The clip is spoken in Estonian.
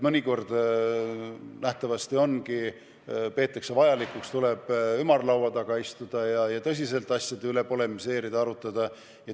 Mõnikord nähtavasti peetakse vajalikuks ümarlaua taga istuda ja tõsiselt asjade üle polemiseerida.